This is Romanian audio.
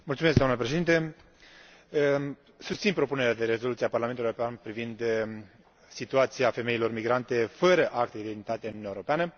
Doamnă președinte, susțin propunerea de rezoluție a Parlamentului European privind situația femeilor migrante fără acte de identitate în Uniunea Europeană.